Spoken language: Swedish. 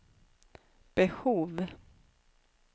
behov